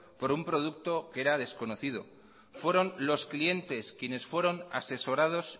por un producto que era desconocido fueron los clientes quienes fueron asesorados